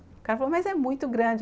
O cara falou, mas é muito grande.